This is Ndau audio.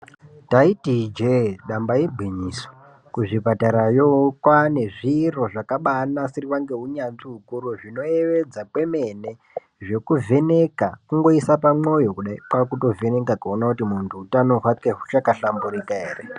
Ndaiti ijee damba igwinyiso kuzvipatarayo kwaane zviro zvakabaanasirwa ngeunyanzvi ukuru zvinoyevedza kwemene zvekuvheneka kungoisa pamwoyo kudai kwakutovheneka kuona kuti muntu utano hwake huchakahlamburika ere.